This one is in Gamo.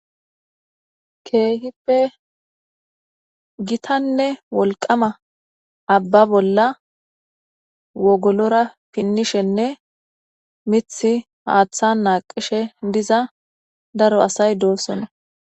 keehippe gitanne wolqama abba bolla wogolora pinnishenne mithi haaththan naaqishe diza daro asay doossona